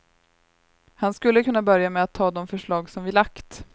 Han skulle kunna börja med att ta de förslag som vi lagt.